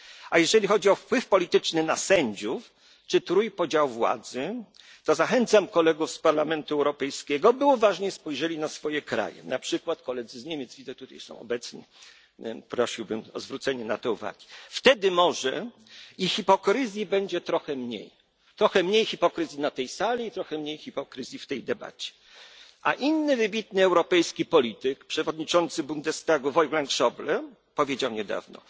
wie. A jeżeli chodzi o wpływ polityczny na sędziów czy trójpodział władzy, to zachęcam kolegów z Parlamentu Europejskiego, by uważniej spojrzeli na swoje kraje, np. kolegów z Niemiec, widzę, że są tutaj obecni, prosiłbym o zwrócenie na to uwagi. Wtedy może i hipokryzji będzie trochę mniej. Trochę mniej hipokryzji na tej sali i trochę mniej hipokryzji w tej debacie. Inny wybitny europejski polityk, przewodniczący Bundestagu Wolfgang Schäuble, powiedział